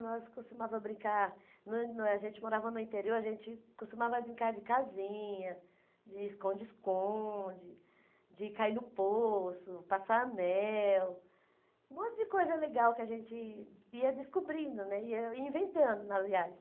Nós costumávamos brincar, a gente morava no interior, a gente costumava brincar de casinha, de esconde-esconde, de cair no poço, passar anel, um monte de coisa legal que a gente ia descobrindo né, ia inventando, aliás.